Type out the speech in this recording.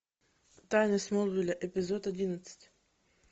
тайны смолвиля эпизод одиннадцать